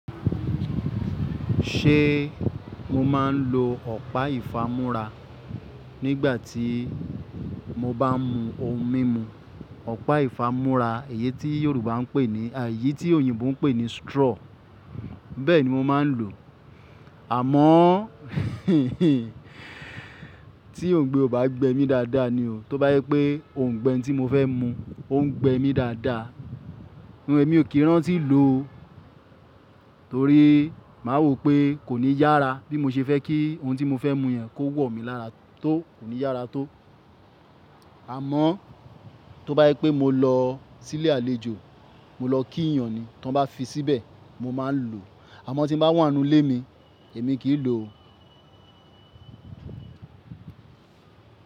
Ṣé mo máa ń lo ọ̀pá ìfámúra nígbà tí mo bá mu ohun mímu? Ọ̀pá ìfámúra, èyí tí Yorùbá ń pè ní, e eyí tí òyìnbó ń pè ní straw, bẹ́ẹ̀ni mo máa ń lò ó. Àmọ́, tí Òǹgbé ò bá gbẹ mí dáadáa ni o. Tó bá jẹ pé Òǹgbé tí mo fẹ́ mu ó ń gbẹ mí dáadáa, mo-- èmi ò kí rántí lò ó. Torí má wò pé kò ní yára bí mo ṣe fẹ́ kí ohun tí mo fẹ́ mu yẹn kó wọ̀ mí lára tó, kò ní yára tó. Àmọ́, tó bá yẹ pé mo lọ sí ilé àlejò, mo lọ kí èèyàn, tí wọ́n bá fi síbẹ̀, mo máa ń lò ó. Àmọ́ tí ń bá wà nú ilé mi, èmi kì í lò ó.